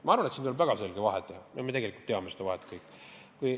Ma arvan, et siin tuleb väga selget vahet teha, ja me tegelikult teame seda vahet kõik.